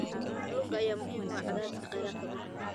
Kalluunka ayaa muhiim u ah dhimista cadaadiska kheyraadka dhulka.